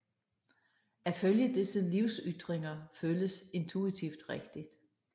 At følge disse livsytringer føles intuitivt rigtigt